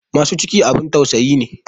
Masu ciki abin tausayi ne.